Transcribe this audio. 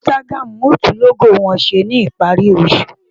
Instagram yóò tún lógò wọn ṣe ní ìparí oṣù.